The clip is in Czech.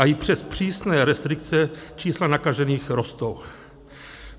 A i přes přísné restrikce čísla nakažených rostou.